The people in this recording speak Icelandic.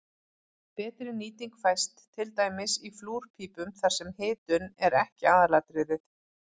betri nýting fæst til dæmis í flúrpípum þar sem hitun er ekki aðalatriðið